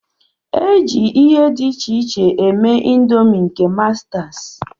E ji ihe dị iche iche mee ịndomii nke mastas.